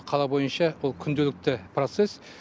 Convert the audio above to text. қала бойынша бұл күнделікті процесс